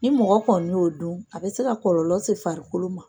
Ni mɔgɔ kɔni y'o dun , a bɛ se ka kɔlɔlɔ se farikolo man.